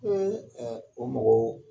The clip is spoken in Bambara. Ɛɛ ɛɛ o magow